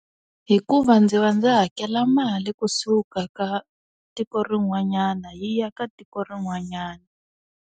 Hikuva ndzi va ndzi hakela mali kusuka ka tiko rin'wanyana hi ya ka tiko rin'wanyana.